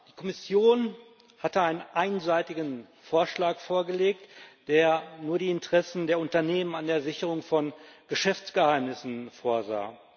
Die Kommission hatte einen einseitigen Vorschlag vorgelegt, der nur die Interessen der Unternehmen an der Sicherung von Geschäftsgeheimnissen vorsah.